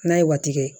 N'a ye waati kɛ